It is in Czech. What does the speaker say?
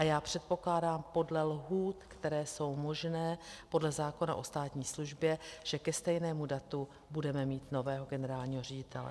A já předpokládám podle lhůt, které jsou možné podle zákona o státní službě, že ke stejnému datu budeme mít nového generálního ředitele.